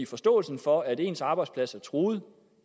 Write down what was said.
forståelsen for at ens arbejdsplads er truet